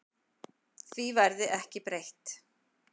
Því verði ekki breytt.